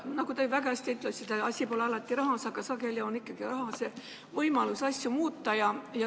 Nagu te väga õigesti ütlesite, asi pole alati rahas, aga sageli annab ikkagi raha võimaluse asju muuta.